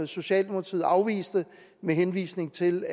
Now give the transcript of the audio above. socialdemokratiet afviste med henvisning til